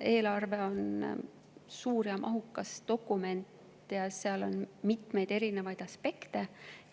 Eelarve on suur ja mahukas dokument, seal on mitmeid aspekte